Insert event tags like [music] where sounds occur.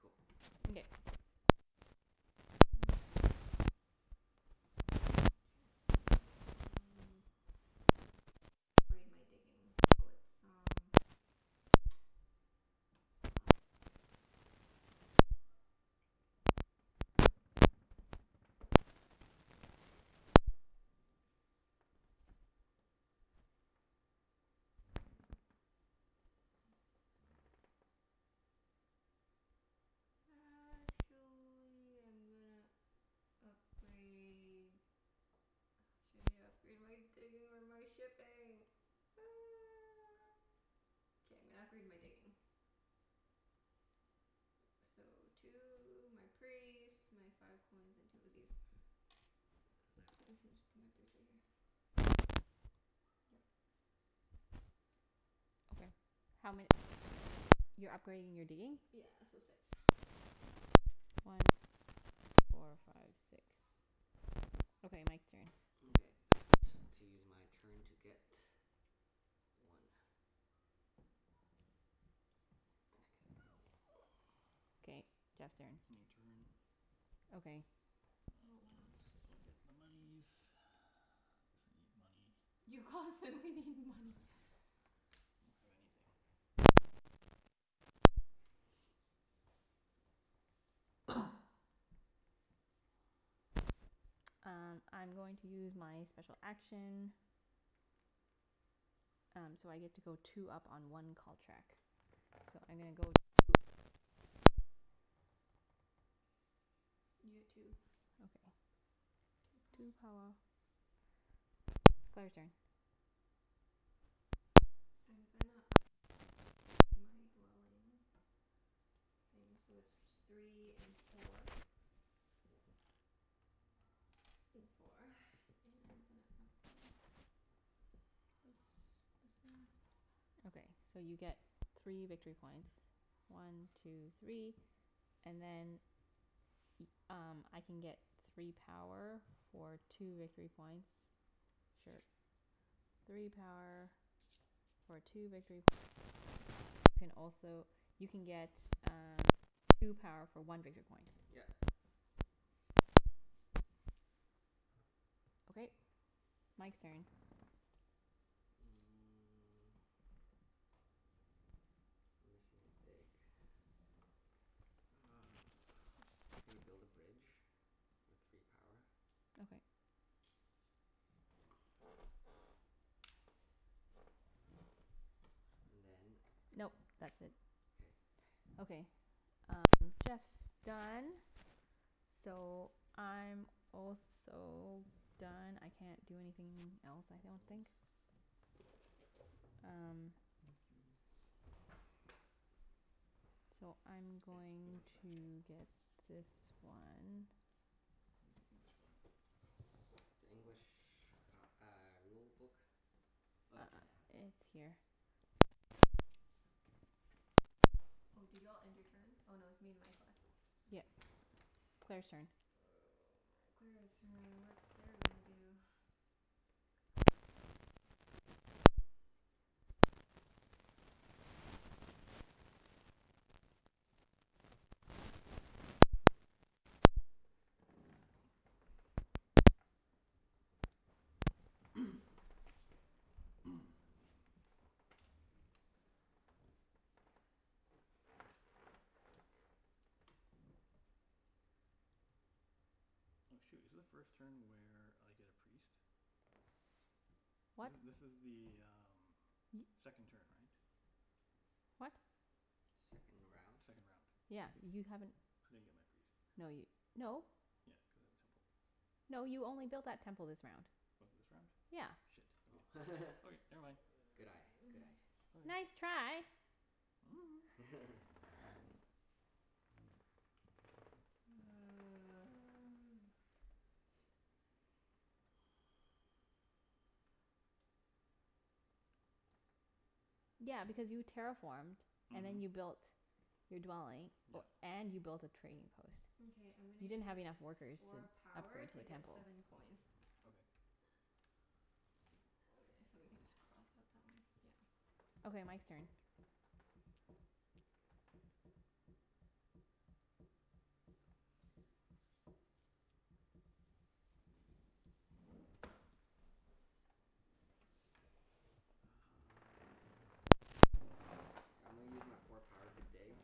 Cool. Mkay. Claire's turn. Hmm. Interesting. Um I'm gonna upgrade my digging so it's um [noise] uh [noise] [noise] Actually I'm gonna upgrade Uh, should I upgrade my digging or my shipping? [noise] K, I'm gonna upgrade my digging. So two, my priest, my five coins, and two of these. [inaudible] Yep. Okay. How ma- ho- You're upgrading your digging? Yeah, so six. [noise] Okay. One two three four five six. Okay, Mike's turn. Mkay. I want to use my turn to get one. And I get this. [noise] Okay, Jeff's turn. Ending turn. Okay. Oh, wow. [noise] I'll get the monies [noise] cuz I need money. You constantly need money. I don't have anything. I got nothin'. [noise] [noise] Um I'm going to use my special action. Um so I get to go two up on one cult track. So I'm gonna go two up white. You get two. Okay. Two power. Two power. Claire's turn. I'm gonna up grade my dwelling thing, so it's t- three and four. [noise] Four [noise] and I'm gonna upgrade this this one. Okay, so you get three Two victory three. points. One two three, and then Y- um I can get three power for two victory [noise] points. Or Sure. a church. Three power for two victory points, and then Mike you can also you can get um two power for one victory point. Yep. Okay, Mike's turn. Mm. I'm missing a dig. Uh [noise] gonna build a bridge. With three power. Okay. [noise] And then Nope, that's it. K. Okay. Um Jeff's done. So I'm also done. I can't do anything else, Their I don't rules. think. Um Thank you. So I'm Hey, this is going the French one. to get this one. Where's the English one? The English p- uh rulebook? Oh, Junette has it. Uh it's here. Oh, did you all end your turn? Oh no, it's me and Mike left. Yep. Claire's turn. Oh my, Claire's turn. What is Claire gonna do? T- good question. [noise] [noise] [noise] [noise] Oh shoot, is the first turn where I get a priest? What? This this is the um second turn, right? What? Second round? Second round. Yeah, you haven't, I didn't get my priest. no y- no. Yeah, cuz I have a temple. No, you only built that temple this round. Was it this round? Yeah. Shit. Oh. [laughs] Okay. Okay, never mind. Good eye. Good eye. [noise] Okay. Nice try. [noise] [laughs] [noise] Five. [noise] One two three four five six seven eight. Yeah, because you terraformed and Mhm. then you built your dwelling, o- Yep. and you built a trading post. Mkay, I'm gonna You didn't use have enough workers to four power upgrade to to a get temple. seven coins. Okay. [noise] Okay, so we can just cross out that one. Yeah. Okay, Mike's turn. Uh I'm gonna use my four power to dig.